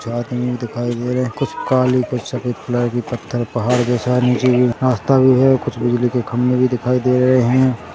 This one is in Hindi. कुछ आदमी भी दिखाई दे रहे है कुछ काली कुछ सफ़ेद कलर की पत्थर पहाड़ जैसा है नीचे कुछ रास्ता भी है कुछ बिजली के खम्भे भी दिखाई दे रहे है।